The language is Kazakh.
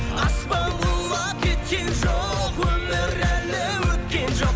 аспан құлап кеткен жоқ өмір әлі өткен жоқ